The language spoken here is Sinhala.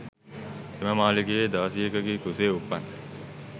එම මාලිගයේ දාසියකගේ කුසේ උපන්